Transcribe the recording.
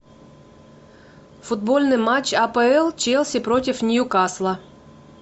футбольный матч апл челси против ньюкасла